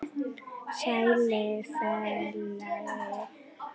Sæll, félagi